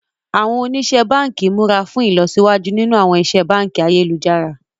Àwọn oníṣẹ́ báǹkì múra fún ìlọsíwájú nínú àwọn ìṣe báǹkì ayélujára